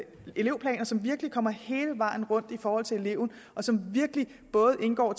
elevplaner som virkelig kommer hele vejen rundt i forhold til eleven og som virkelig både indgår